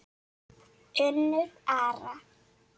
Unnur Ara.